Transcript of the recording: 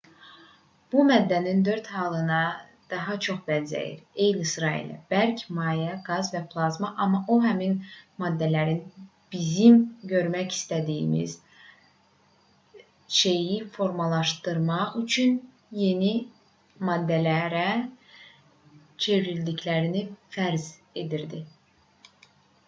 bu maddənin dörd halına daha çox bənzəyir eyni sıra ilə: bərk maye qaz və plazma amma o həmin maddələrin bizim görmək istədiyimiz şeyi formalaşdırmaq üçün yeni maddələrə çevrildiklərini fərz edirdi